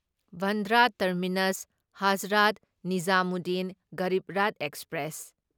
Bandra terminus Hazrat Nizamuddin Garib Rath express